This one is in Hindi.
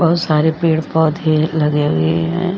बहुत सारे पेड़ पौधे लगे हुए हैं।